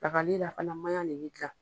li la fana maɲa de bɛ kila